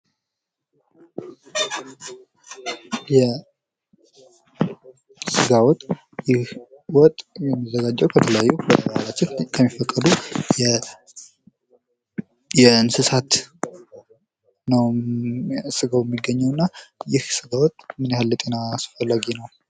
የስጋ ወጥ ይህ ወጥ የሚዘጋጀው ከእንስሳት ነው ስጋው የሚገኘው እና ይህ ስጋ ወጥ ምን ያህል ለጤና አስፈላጊ ነው።